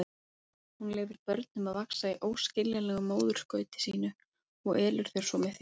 Hún leyfir börnum að vaxa í óskiljanlegu móðurskauti sínu og elur þau svo með þjáningu.